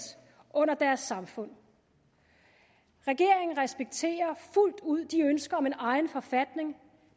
under deres samfund regeringen respekterer fuldt ud de ønsker om en egen forfatning